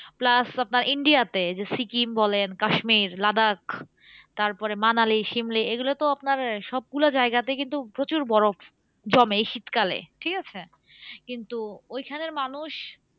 Plus আপনার India তে যে সিকিম বলেন কাশ্মীর লাদাখ তারপরে মানালি সিমলা এগুলোতো আপনার সবগুলো যায়গাতে কিন্তু প্রচুর বরফ জমে এই শীতকালে, ঠিকাছে? কিন্তু ওইখানের মানুষ